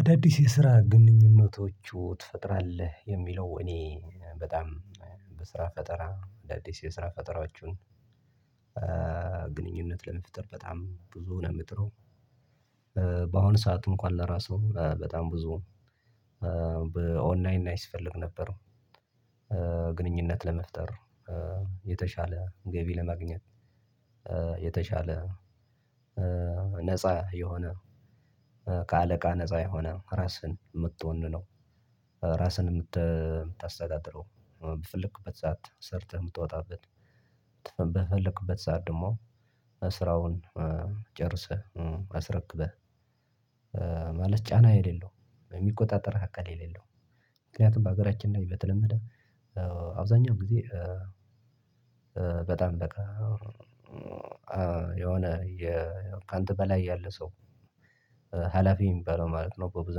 አዳዲስ የስራ ግንኙነቶቹ ትፈጥራለህ? የሚለው እኔ በጣም በስራ ፈጠራ አዳዲስ የስራ ፈጠራዎችን ግንኙነት ለመፍጠር በጣም ብዙ ነው የምጥረው። በአሁኑ ሰዓት እንኳን ለራሱ በጣም ብዙ በኦንላይን ላይ ስፈልግ ነበር። ግንኙነት ለመፍጠር የተሻለ ገቢ ለማግኘት የተሻለ ነፃ የሆነ ከአለቃ ነፃ ራስህን የምትሆን ነው ራስህን የምታስተዳድረው በፈልክበት ሰዓት ሰርተህ የምትወጣበት በፈለክበት ሰዓት ደግሞ ስራውን ጨርሰህ አስረክበህ ማለት ጫና የሌለው የሚቆጣጠር ሀካል የሌለው ምክንያቱም በሀገራችን ላይ በተለመደ አብዛኛው ጊዜ በጣም በቃ የሆነ የ ካንተ በላይ ያለ ሰው ሀላፊ የሚባለው ማለት ነው። በብዙ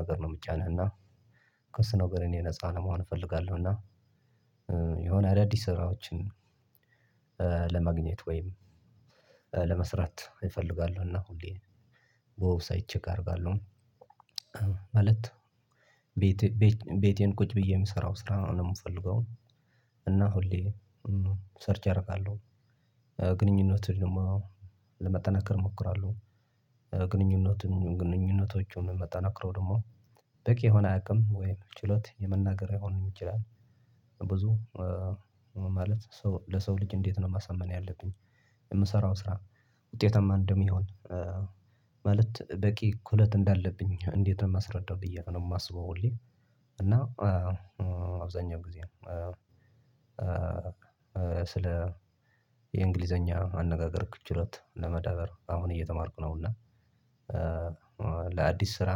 ነገር ነው የሚጫንህ እና ከሱ ነገር እኔ የነፃ ለመሆን እፈልጋለሁ። እና የሆነ አዳዲስ ስራዎችን ለማግኘት ወይም ለመስራት እፈልጋለሁ። እና ሁሌ ዌብሳይት ቼክ አደርጋለሁ። ማለት ቤቴን ቁጭ ብዬ የምሰራው ስራ ነው የምፈልገው። እና ሁሌ ሰርች አደርጋለሁ። ግንኙነት ደግሞ ለመጠናከር እሞክራለሁ። ግንኙነትን ግንኙነቶችን ማጠናክረው ደግሞ በቂ የሆነ አቅም ወይም ችሎት የመናገር ሊሆንም ይችላል ብዙ ማለት ለሰው ልጅ እንዴት ነው ማሳመን ያለብኝ፤ የምሰራው ስራ ውጤታማ እንደሚሆን በቂ እኩለት እንዳለብኝ እንዴት ነው የማስረዳው ብዬ ነው የማስበው ሁሌ። እና አብዛኛው ጊዜ ስለ የእንግሊዘኛ አነጋገርክ ችሎታ ለመዳበር አሁን እየተማርኩ ነው እና ለአዲስ ስራ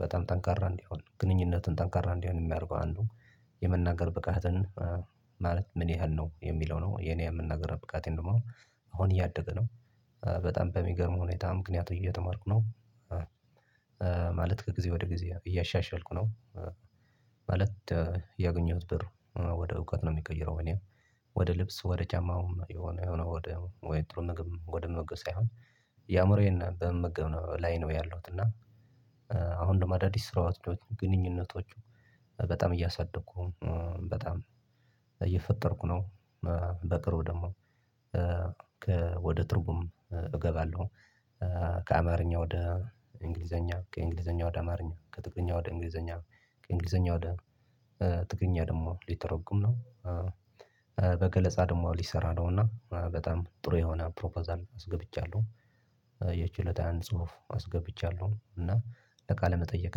በጣም ጠንካራ እንዲሆን ግንኙነትን ጠንካራ እንዲሆን የሚያደርገው አንዱ የመናገር ብቃትን ማለት ምን ያህል ነው የሚለው ነው። የኔ የመናገር ብቃቴን ደግሞ አሁን እያደገ ነው። በጣም በሚገርም ሁኔታ ምክንያት እየተማርኩ ነው። ማለት ከጊዜ ወደ ጊዜ እያሻሻልኩ ነው። የገኘሁት ብር ወደ እውቀት ነው የሚቀይረው እኔ። ወደ ልብስ ወደ ጫማውም የሆነ የሆነ ጥሩ ምግብ ወደ ምግብ ሳይሆን ያምሮዬን በመመገብ ላይ ነው ያለሁት። እና አሁን ደግሞ አዳዲስ ስራዎች ግንኙነቶቹ በጣም እያሳደግኩ በጣም እየፈጠርኩ ነው። በቅርቡ ደግሞ ከወደ ትርጉም እገባለሁ። ከአማርኛ ወደ እንግሊዘኛ ከእንግሊዘኛ ወደ አማርኛ ከትግርኛ ወደ እንግሊዘኛ ከእንግሊዘኛ ወደ ትግርኛ ደግሞ ሊተረጉም ነው። በገለጻ ደግሞ ሊሰራ ነው። እና በጣም ጥሩ የሆነ ፕሮፐዛል አስገብቻለሁ። የችሎታዬን ጽሁፍ አስገብቻለሁ። እና ለቃለ መጠየቅ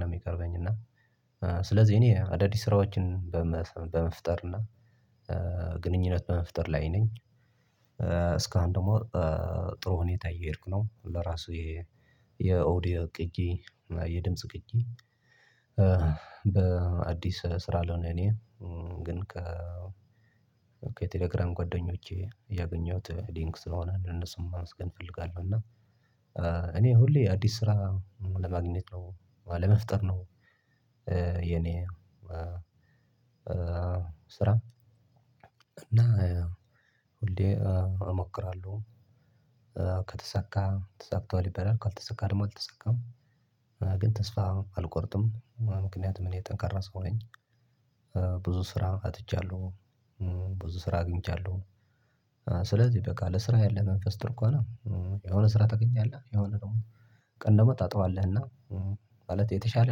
ነው የሚቀርበኝ። እና ስለዚህ እኔ አዳዲስ ስራዎችን በመፍጠር እና ግንኙነት በመፍጠር ላይ ነኝ። እስካሁን ደግሞ ጥሩ ሁኔታ እየሄድኩ ነው። ለራሱ የኦዲዮ ቅጂ የድምጽ ቅጂ በአዲስ ስራ ለሆነ እኔ ግን ከቴሌግራም ጓደኞቼ ያገኘሁት ሊንክ ስለሆነ ለነሱም ማመስገን እፈልጋለሁ። እና እኔ ሁሌ አዲስ ስራ ለማግኘት ነው ለመፍጠር ነው የኔ ስራ። እና ሁሌ እሞክራለሁ። ከተሳካ ተሳክቷል ይባላል፤ ካልተሳካ ደግሞ አልተሳካም ግን ተስፋ አልቆርጥም። ምክንያቱም እኔ ጠንካራ ሰው ነኝ። ብዙ ስራ አጥቻለሁ። ብዙ ስራ አግኝቻለሁ። ስለዚህ በቃ ለስራ ያለህ መንፈስ ጥሩ ከሆነ ስራ ታገኛለህ የሆነ ደግሞ ቀን ደግሞ ታጠዋለህ። እና ማለት የተሻለ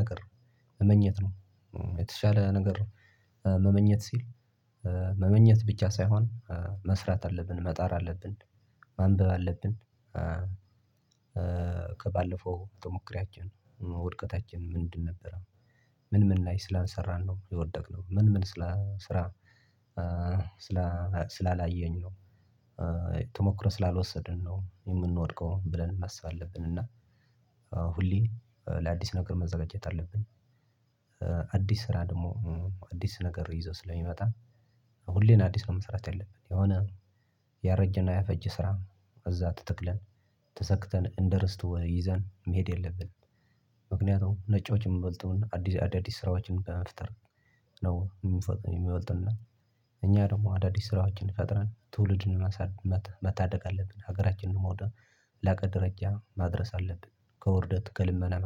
ነገር መመኘት ነው። የተሻለ ነገር መመኘት ሲል መመኘት ብቻ ሳይሆን መስራት አለብን። መጣር አለብን። ማንበብ አለብን ከባለፈው ቶሞክሯችን ውድቀታችን ምንድን ነበር? ምን ምን ላይ ስላንሰራን ነው የወደቅነው? ምን ምን ስላ ስራ ስላላየኝ ነው ተሞክሮ ስላልወሰድን ነው የምንወድቀውን? ብለን ማሰብ አለብን። እና ሁሌ ለአዲስ ነገር መዘጋጀት አለብን። አዲስ ስራ ደግሞ አዲስ ነገር ይዞ ስለሚመጣ ሁሌም አዲስ ነው መስራት ያለብን። የሆነ ያረጀና ያፈጀ ስራ እዛ ተተክለን ተሰክተን እንደርስት ይዘን መሄድ የለብንም። ምክንያቱም ነጮች የምበልጡን አዲስ አዳዲስ ስራዎችን በመፍጠር ነው የሚበልጡን እኛ ደግሞ አዳዲስ ስራዎችን ፈጥረን ትውልድን መሳደግ መታደግ አለብን። ሀገራችንንም ወደ ላቀ ደረጃ ማድረስ አለብን። ከውርደት ከልመና